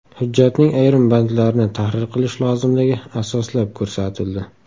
Hujjatning ayrim bandlarini tahrir qilish lozimligi asoslab ko‘rsatildi.